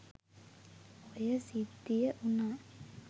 ඔය සිද්ධිය වුණා.